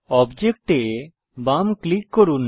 object এ বাম click করুন